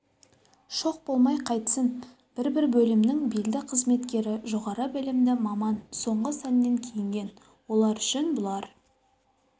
шоқ болмай қайтсін бір-бір бөлімнің белді қызметкері жоғары білімді маман соңғы сәннен киінген олар үшін бұлар